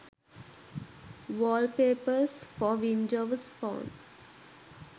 wallpapers for windows phone